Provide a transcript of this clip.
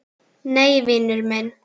Nei, vinur minn.